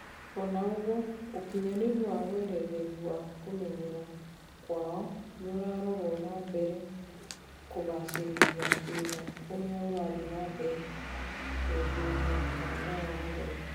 Ona ugwo ukinyaniru wa weretheri wa kumeyera kwao niurarorwo nambere kugacerithia thina uria urathii namebere guthinia kanitha wa Kathoreki